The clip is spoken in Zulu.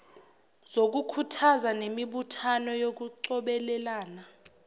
zokukhuthaza nemibuthano yokucobelelana